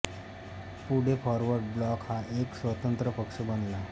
पुढे forward bloc हा एक स्वतंत्र पक्ष बनला